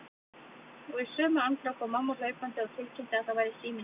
Og í sömu andrá kom mamma hlaupandi og tilkynnti að það væri síminn til mín.